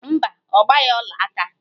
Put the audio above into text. Mba, ọ gbaghị ọlaaka